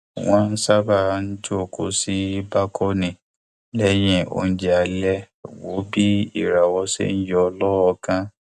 wọn sábà ń jókòó sí bákónì lẹyìn oúnjẹ alẹ wo bí ìràwọ ṣe ń yọ lọọọkan